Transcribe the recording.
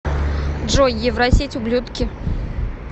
джой евросеть ублюдки